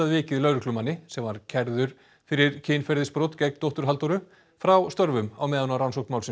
vikið lögreglumanni sem var kærður fyrir kynferðisbrot gegn dóttur Halldóru frá störfum á meðan rannsókn málsins